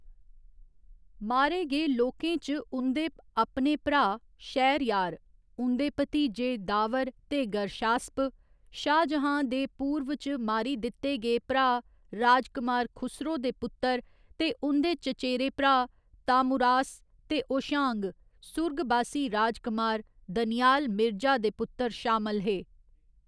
मारे गे लोकें च उं'दे अपने भ्राऽ शहरयार, उं'दे भतीजे दावर ते गर्शास्प, शाहजहां दे पूर्व च मारी दित्ते गे भ्राऽ राजकमार खुसरो दे पुत्तर ते उं'दे चचेरे भ्राऽ ताहमुरास ते होशांग, सुरगबासी राजकमार दनियाल मिर्जा दे पुत्तर शामल हे।